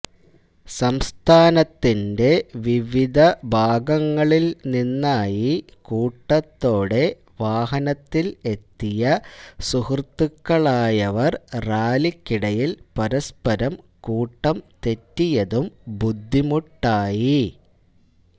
സംസ്ഥാനത്തിന്റെ വിവിധ ഭാഗങ്ങളില് നിന്നായി കൂട്ടത്തോടെ വാഹനത്തില് എത്തിയ സുഹൃത്തുക്കളായവര് റാലിക്കിടയില് പരസ്പരം കൂട്ടംതെറ്റിയതും ബുദ്ധിമുട്ടായി